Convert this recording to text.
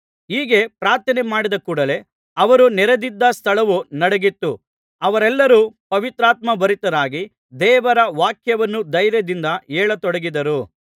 ಹೀಗೆ ಪ್ರಾರ್ಥನೆ ಮಾಡಿದ ಕೂಡಲೇ ಅವರು ನೆರೆದಿದ್ದ ಸ್ಥಳವು ನಡುಗಿತು ಅವರೆಲ್ಲರು ಪವಿತ್ರಾತ್ಮ ಭರಿತರಾಗಿ ದೇವರ ವಾಕ್ಯವನ್ನು ಧೈರ್ಯದಿಂದ ಹೇಳತೊಡಗಿದರು